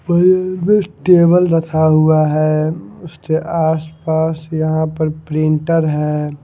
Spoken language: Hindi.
टेबल रखा हुआ है उसके आसपास यहां पर प्रिंटर है।